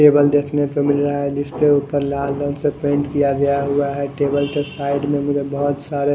table देखने से मिल रहा है जिसके ऊपर लाल रंग से पेंट किया गया हुआ है टेबल से साइड में मुझे बहुत सारे--